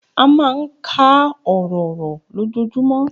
A máa ń ka ọ̀rọ̀ ọ̀rọ̀ lójoojúmọ́